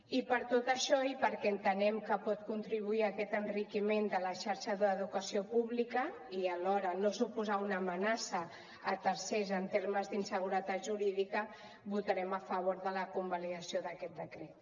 i per tot això i perquè entenem que pot contribuir a aquest enriquiment de la xarxa d’educació pública i alhora no suposar una amenaça a tercers en termes d’inseguretat jurídica votarem a favor de la convalidació d’aquest decret